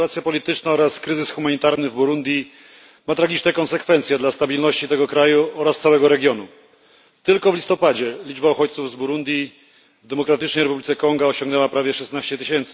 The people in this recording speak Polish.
Sytuacja polityczna oraz kryzys humanitarny w Burundi ma tragiczne konsekwencje dla stabilności tego kraju oraz całego regionu. Tylko w listopadzie liczba uchodźców z Burundi w Demokratycznej Republice Konga osiągnęła prawie 16 tys.